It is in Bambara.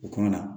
U kumana